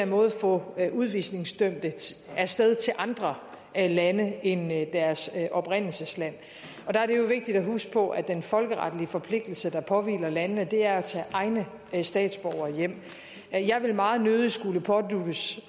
måde kan få udvisningsdømte af sted til andre lande end deres oprindelsesland der er det jo vigtigt at huske på at den folkeretlige forpligtelse der påvirker landene er at tage egne statsborgere hjem jeg vil meget nødig skulle påduttes